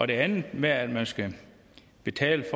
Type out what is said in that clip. det andet med at man skal betale